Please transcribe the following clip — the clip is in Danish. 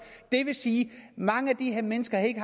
det vil sige at mange af de her mennesker ikke